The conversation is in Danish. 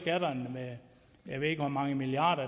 med jeg ved ikke hvor mange milliarder